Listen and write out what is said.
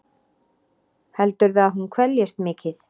Heldurðu að hún kveljist mikið?